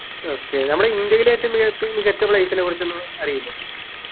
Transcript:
okay നമ്മളെ ഇന്ത്യയിൽ ഏറ്റവും മികത്തി മികച്ച players നെ കുറിച്ചൊന്നും അറിയില്ലേ